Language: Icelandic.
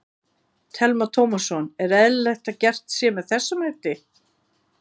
Telma Tómasson: Er eðlilegt að gert sé með þessum hætti?